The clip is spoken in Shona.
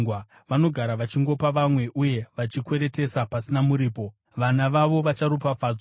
Vanogara vachingopa vamwe, uye vachikweretesa pasina muripo; vana vavo vacharopafadzwa.